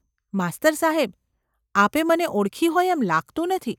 ‘માસ્તર સાહેબ ! આપે મને ઓળખી હોય એમ લાગતું નથી.